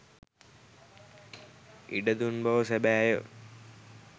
ඉඩ දුන් බව සැබෑය.